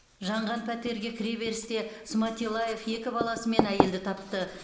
жанған пәтерге кіреберісте сматиллаев екі баласымен әйелді тапты